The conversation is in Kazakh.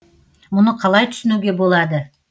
мұны қалай түсінуге болады